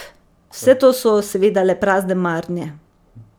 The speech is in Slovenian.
Vse to so seveda le prazne marnje.